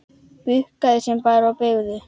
Bukkuðu sig bara og beygðu!